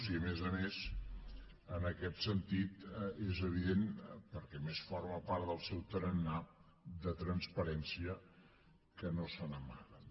i a més a més en aquest sentit és evident perquè a més forma part del seu tarannà de transparència que no se n’amaga